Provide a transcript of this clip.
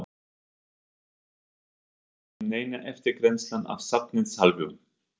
Hún sagðist ekki vita um neina eftirgrennslan af safnsins hálfu.